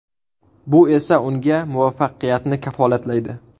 Bu esa unga muvaffaqiyatni kafolatlaydi.